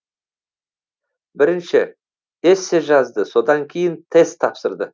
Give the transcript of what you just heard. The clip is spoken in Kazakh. бірінші эссе жазды содан кейін тест тапсырды